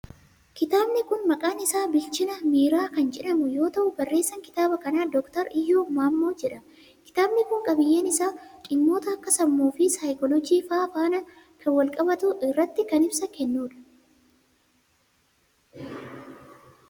Kitaabni kun maqaan isaa Bilchina Miiraa kan jedhamu yoo ta'u, barreessaan kitaaba kanaa Doktar Iyyoob Maammoo jedhama. Kitaabni kun, qabiiyyeen isaa dhimmoota akka sammuu fi saayikooloojii faa faana kan walqabatu irratti kan ibsa kennuu dha.